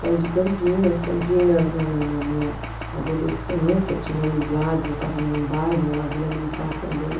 Saí de Campinas, Campinas na na na minha adolescência, tinha amizades, eu estava num bairro, numa vila militar também.